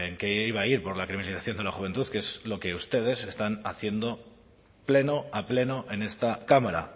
que iba a ir por la de la juventud que es lo que ustedes están haciendo pleno a pleno en esta cámara